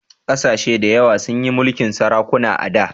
Ƙasashe dayawa sun yi mulkin sarakuna a da